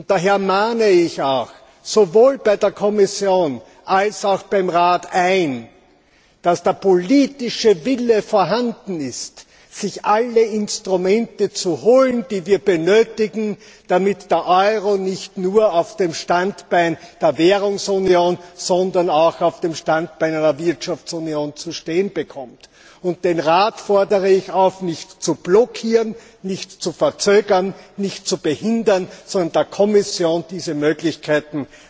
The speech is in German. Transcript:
Daher mahne ich auch sowohl bei der Kommission als auch beim Rat ein, dass der politische Wille vorhanden ist, sich alle Instrumente zu holen, die wir benötigen, damit der Euro nicht nur auf dem Standbein der Währungsunion, sondern auch auf dem Standbein einer Wirtschaftsunion zu stehen kommt. Den Rat fordere ich auf, nicht zu blockieren, nicht zu verzögern, nicht zu behindern, sondern der Kommission diese Möglichkeiten